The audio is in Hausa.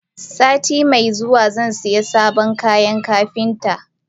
Satin me zuwa zai siya sabon kayan Kapinta.